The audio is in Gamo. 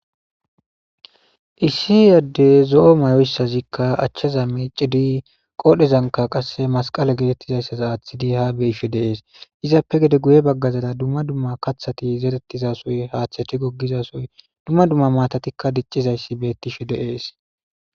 Issi yaddey zo7o mayoyssazikka achchaza miici di qoodhezanka qasse masqala gedettizayssaza aaththidi ha beife deees izappe gede guye baggazada dumma dumma kathati zerettizasoy haatheti goggizasoy dumma dumma matatikka diccizayssi bettife deees.